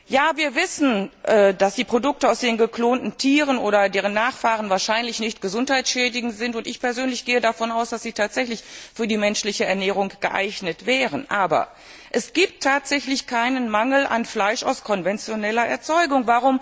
Ja, wir wissen, dass die Produkte aus geklonten Tieren oder deren Nachfahren wahrscheinlich nicht gesundheitsschädigend sind und ich persönlich gehe davon aus, dass sie tatsächlich für die menschliche Ernährung geeignet wären aber es gibt tatsächlich keinen Mangel an Fleisch aus konventioneller Erzeugung.